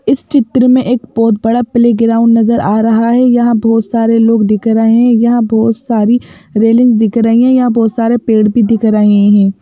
इस चित्र में एक बहुत बड़ा प्लेग्राउंड नजर आ रहा है यहां बहुत सारे लोग दिख रहे हैं यहां बहुत सारी रेलिंग्स दिख रही हैं यहां बहुत सारे पेड़ भी दिख रहे हैं।